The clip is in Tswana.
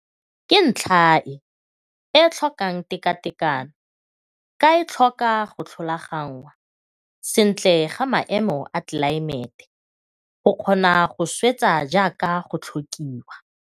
Ke ntlha e e tlhokang tekatekano ka e tlhoka go tlhalogangwa sentle ga maemo a telaemete go kgona go swetsa jaaka go tlhokiwa.